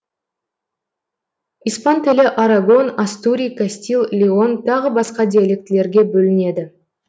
испан тілі арагон астури кастил леон тағы басқа диалектілерге бөлінеді